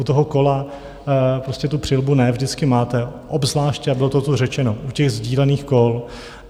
U toho kola prostě tu přilbu ne vždycky máte, obzvláště, a bylo to tu řečeno, u těch sdílených kol.